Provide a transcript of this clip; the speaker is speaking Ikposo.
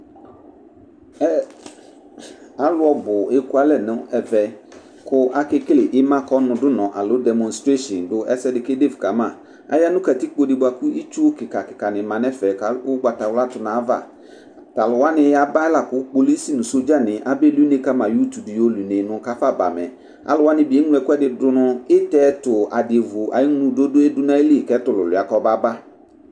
Alʋ bʋ eƙualɛ nʋ ɛmɛ, ƙʋ aƙeƙele ɩmaƙɔnʋɖʋnɔ alo ɖemɔstreshin ɖʋ ɛsɛ ɖɩ ƙeɖefu ƙamaKatiƙpo nɩ bʋa ƙʋ itsu ƙɩƙaƙɩƙa nɩ ma nʋ ɛfɛ ,ƙʋ ʋgbawla nɩ ɖʋ aƴʋ avaTʋ alʋ wanɩ ƴaba laƙʋ polis nʋ sɔɖza nɩ abe li une ƙa ma nʋ ƙafaba mɛAlʋ wanɩ bɩ eŋlo ɛƙʋ ɖʋ nʋ ito ɛtʋ aɖɩnɩ mɛ ɛtʋlʋlʋia ƙɔma ba